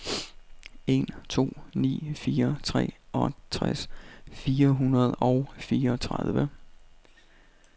en to ni fire treogtres fire hundrede og fireogtredive